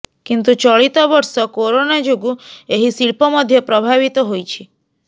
କିନ୍ତୁ ଚଳିତ ବର୍ଷ କରୋନା ଯୋଗୁଁ ଏହି ଶିଳ୍ପ ମଧ୍ୟ ପ୍ରଭାବିତ ହୋଇଛି